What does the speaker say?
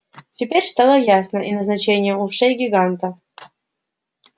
теперь стало ясно и назначение ушей гиганта